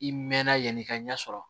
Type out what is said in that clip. I mɛnna yanni i ka ɲɛ sɔrɔ